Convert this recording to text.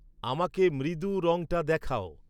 আমাকে মৃদু রঙটা দেখাও